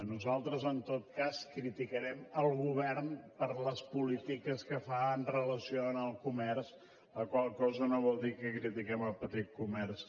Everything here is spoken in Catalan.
nosaltres en tot cas criticarem el govern per les polítiques que fa en relació amb el comerç la qual cosa no vol dir que critiquem el petit comerç